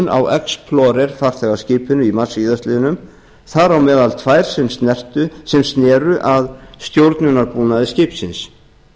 á explorer farþegaskipinu í mars síðastliðinn þar á meðal tvær sem sér að stjórnunarbúnaði skipsins